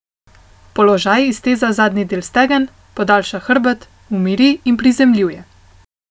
Položaj izteza zadnji del stegen, podaljša hrbet, umiri in prizemljuje.